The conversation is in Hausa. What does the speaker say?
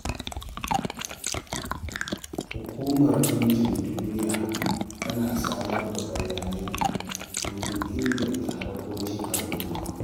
Hukumar Ɗinkin Duniya tana samar da bayanai domin inganta harkokin al'umma.